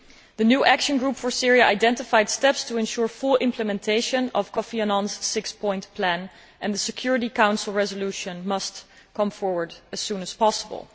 The new action group for Syria identified steps to ensure full implementation of Kofi Annan's six point plan and the Security Council resolution must come forward as soon as possible.